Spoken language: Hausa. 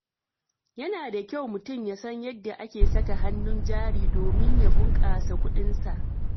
Yana da kyau mutum ya san yadda ake saka hannun jari domin ya bunkasa kuɗinsa.